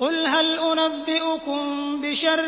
قُلْ هَلْ أُنَبِّئُكُم بِشَرٍّ